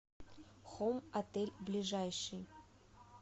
хоум отель ближайший